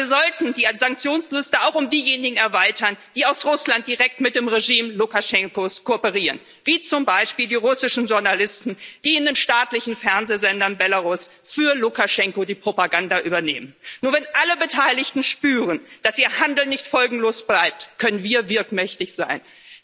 Aber wir sollten die Sanktionsliste auch um diejenigen erweitern, die aus Russland direkt mit dem Regime Lukaschenkos kooperieren, wie zum Beispiel die russischen Journalisten, die in den staatlichen Fernsehsendern von Belarus für Lukaschenko die Propaganda übernehmen. Nur wenn alle Beteiligten spüren, dass ihr Handeln nicht folgenlos bleibt, können wir wirkmächtig sein.